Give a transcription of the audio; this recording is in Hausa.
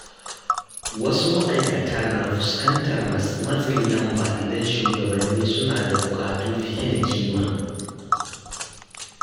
Wasu ma’aikata na fuskantar matsin lamba idan shugabanni suna da buƙatu fiye da kima.